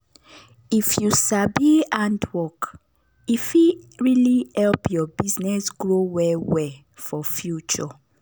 if you sabi hand work e fit really help your business grow well well for future.